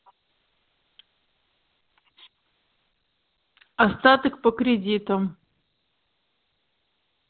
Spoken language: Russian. остаток по кредиту